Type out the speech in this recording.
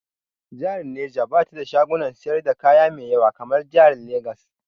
Jihar Neja ba ta da shagunan siyar da kaya mai ƴawa kamar jihar Legas.